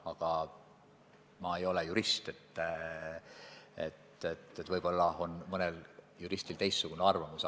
Aga ma ei ole jurist, võib-olla on mõnel juristil teistsugune arvamus.